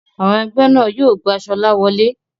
Àwọn ẹgbẹ́ náà yóò gba Sola wole.